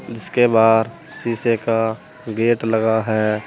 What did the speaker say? जीसके बाहर शीशे का गेट लगा है।